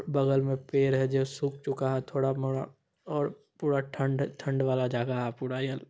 बगल मे पेड़ है जो सुख चूका है थोड़ा-मोड़ा और पूरा ठंड ठंड वाला जगह है पूरा ये --